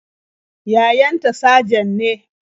Yayan ta sajan ne.